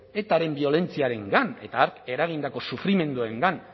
etaren biolentziarengan eta hark eragindako sufrimenduengan